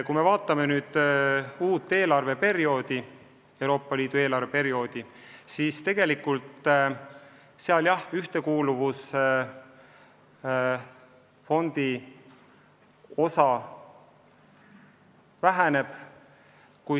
Kui me vaatame uut Euroopa Liidu eelarveperioodi, siis näeme, et meile eraldatav ühtekuuluvusfondi osa tõesti väheneb.